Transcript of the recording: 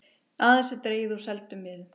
Aðeins er dregið úr seldum miðum